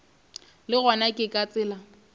le gona ke ka tsela